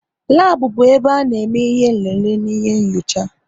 Labu bụ ebe ana eme ihe nlele n'ihe nyocha